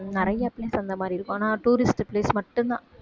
நிறைய place அந்த மாதிரி இருக்கும் ஆனா tourist place மட்டும்தான்